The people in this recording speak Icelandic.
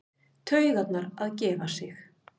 Taugarnar að gefa sig.